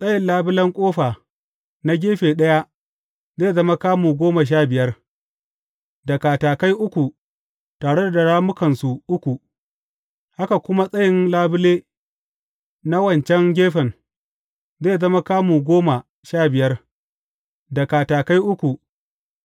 Tsayin labulen ƙofa na gefe ɗaya zai zama kamu goma sha biyar, da katakai uku tare da rammukansu uku, haka kuma tsayin labule na wancan gefen, zai zama kamu goma sha biyar, da katakai uku